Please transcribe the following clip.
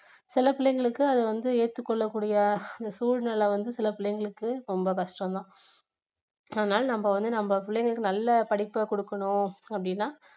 சில பிள்ளைங்களுக்கு அது வந்து ஏற்றுக் கொள்ளக்கூடிய சூழ்நிலை வந்து சில பிள்ளைகளுக்கு ரொம்ப கஷ்டம் தான் ஆதனால நம்ம வந்து நம்ம பிள்ளைங்களுக்கு நல்ல படிப்பை கொடுக்கணும் அப்படின்னா